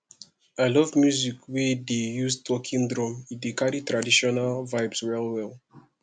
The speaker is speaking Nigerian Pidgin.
i love music wey dey use talking drum e dey carry traditional vibes wellwell